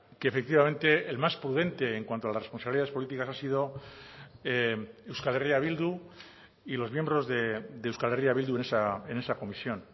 que efectivamente el más prudente en cuanto a las responsabilidades políticas ha sido euskal herria bildu y los miembros de euskal herria bildu en esa comisión